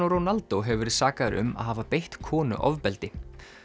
Ronaldo hefur verið sakaður um að hafa beitt konu ofbeldi